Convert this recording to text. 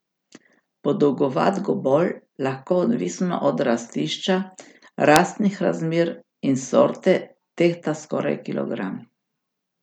Podolgovat gomolj lahko odvisno od rastišča, rastnih razmer in sorte tehta skoraj kilogram.